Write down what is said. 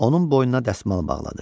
Onun boynuna dəsmal bağladı.